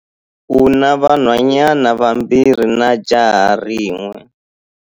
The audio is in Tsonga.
U na vanhwanyana vambirhi na jaha rin'we.